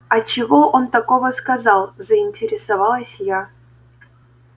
а чего он такого сказал заинтересовалась я